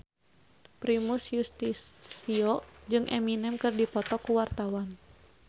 Primus Yustisio jeung Eminem keur dipoto ku wartawan